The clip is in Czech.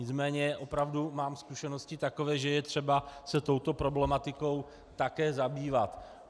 Nicméně opravdu mám zkušenosti takové, že je třeba se touto problematikou také zabývat.